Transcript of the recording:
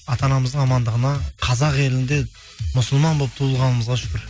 ата анамыздың амандығына қазақ елінде мұсылман болып туылғанымызға шүкір